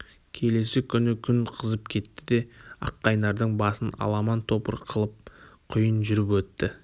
келесі күні күн қызып кетті де аққайнардың басын аламан-топыр қылып құйын жүріп өтті